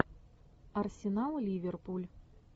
арсенал ливерпуль